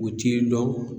U t'i dɔn